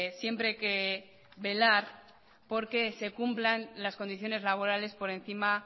siempre que velar porque se cumplan las condiciones laborales por encima